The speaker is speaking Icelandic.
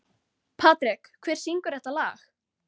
Patrek, hver syngur þetta lag?